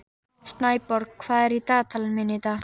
Snæborg, hvað er í dagatalinu mínu í dag?